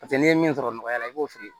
Paseke n'i ye min sɔrɔ nɔgɔya la i b'o feere